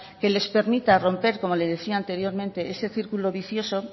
que les permita romper como le decía anteriormente ese círculo vicioso